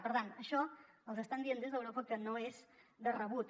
per tant això els estan dient des d’europa que no és de rebut